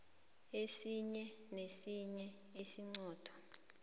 esinye nesinye isiqunto